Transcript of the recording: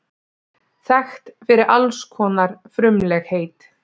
Þekkt fyrir alls konar frumlegheit.